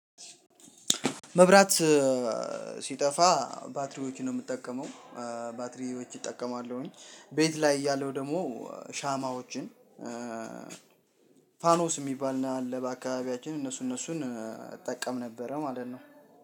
መብራት ሲጠፋ ባትሪዎችን ነው ምጠቀመው፥ ባትሪዎች እጠቀማለሁኝ። ቤት ላይ እያለሁ ደግሞ ሻማዎችን ፋኖስ ሚባል አለ በአካባቢያችን እነሱ እነሱን እጠቀም ነበረ ማለት ነው።